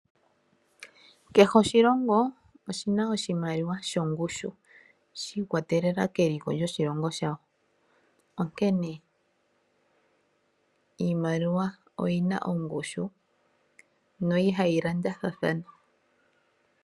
Kehe oshilongo oshina oshimaliwa shongushu shiikwatelela keliko lyoshilongo shawo onkene iimaliwa oyina oshushu na ihayi landathathana.